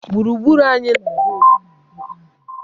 Gburugburu anyị na-adị ọcha ma dịkwa jụụ.